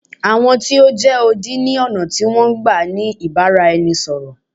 Àwọn tí o jẹ́ odi ni ọ̀nà tí wọn n gbá ni ìbáraẹnisọ̀rọ̀.